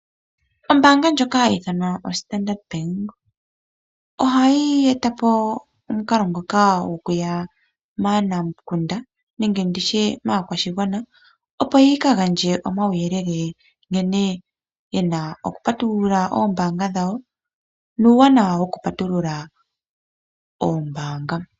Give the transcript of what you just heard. Oombaanga ndjoka hayiithanwa oStandard, ohayi etapo omukalo ngoka gokuya maanamukunda nenge nditye maakwashigwana, opo yikagandje omauyele nkene yena okupatulula oombanga dhawo, nuuwanawa wokupatulula oombanga.